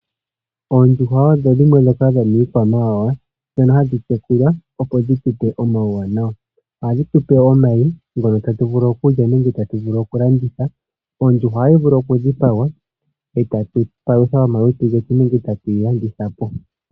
Oondjuhwa odho dhimwe dhomiikwamawawa ndhoka hadhi yekulwa opo dhitu pe omawuwanawa. Ohadhi tu pe omayi tatu vulu okulya nenge tatu vulu okulanditha. Ondjuhwa ohayi vulu okudhipagwa etatu palutha omalutu getu nenge tatu yi landitha po.